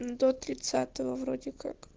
до тридцатого вроде как